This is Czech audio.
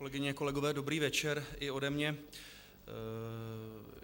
Kolegyně, kolegové, dobrý večer i ode mě.